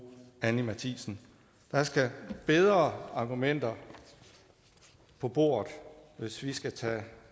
anni matthiesen der skal bedre argumenter på bordet hvis vi skal tage